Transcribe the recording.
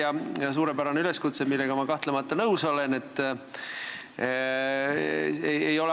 See oli suurepärane üleskutse, millega ma kahtlemata nõus olen.